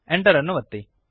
Enter ಅನ್ನು ಒತ್ತಿರಿ